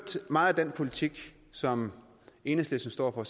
meget af den politik som enhedslisten står for